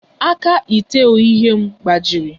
Aka ite oghughe m gbajiri